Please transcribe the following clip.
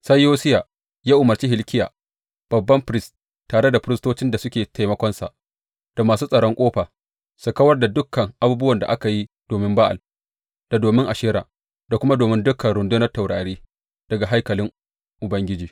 Sai Yosiya ya umarci Hilkiya babban firist, tare da firistocin da suke taimakonsa, da masu tsaron ƙofa su kawar da dukan abubuwan da aka yi domin Ba’al, da domin Ashera, da kuma domin dukan rundunar taurari, daga haikalin Ubangiji.